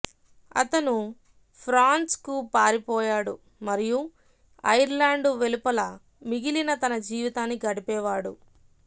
అతను ఫ్రాన్స్కు పారిపోయాడు మరియు ఐర్లాండ్ వెలుపల మిగిలిన తన జీవితాన్ని గడిపేవాడు